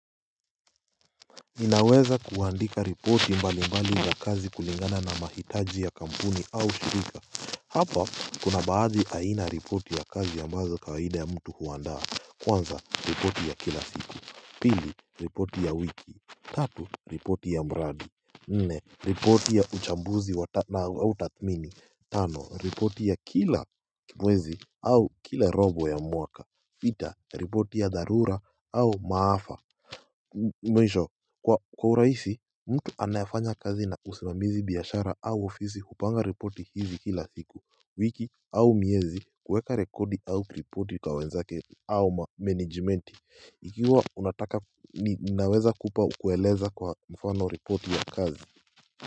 Ninaweza kuandika ripoti mbali mbali wa kazi kulingana na mahitaji ya kampuni au shirika Hapa kuna baadhi aina ripoti ya kazi ya ambazo kawaida ya mtu huandaa Kwanza, ripoti ya kila siku Pili, ripoti ya wiki Tatu, ripoti ya mradi Nne, ripoti ya uchambuzi na utatmini Tano, ripoti ya kila mwezi au kila robo ya mwaka pita, ripoti ya darura au maafa Mwisho kwa uraisi mtu anayafanya kazi na usimamizi biyashara au ofisi kupanga reporti hizi kila siku wiki au miezi kuweka rekodi au reporti kwa wenzake au mmanajmenti ikiwa unataka ninaweza kupa kuweleza kwa mfano reporti ya kazi.